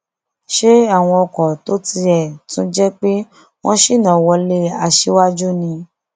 ṣe àwọn ọkọ tó tiẹ tún jẹ pé wọn ṣínà wọlé aṣíwájú ni